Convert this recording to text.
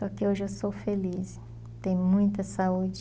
Só que hoje eu sou feliz, tenho muita saúde.